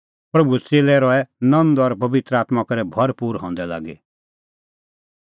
प्रभूए च़ेल्लै रहै नंद और पबित्र आत्मां करै भरपूर हंदै लागी